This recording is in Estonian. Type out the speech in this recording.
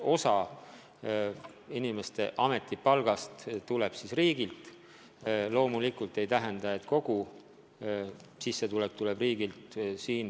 Osa inimeste ametipalgast tuleb riigilt, aga loomulikult see ei tähenda, et kogu sissetulek tuleb riigilt.